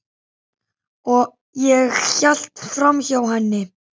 Ég hélt framhjá henni.